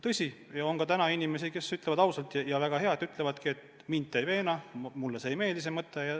Tõsi, on ka täna inimesi, kes ütlevad ausalt – ja väga hea, et ütlevad –, et mind te ei veena, mulle ei meeldi see mõte.